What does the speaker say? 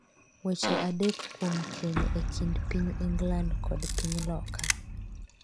weche adek kuom keny e kind piny England kod piny Loka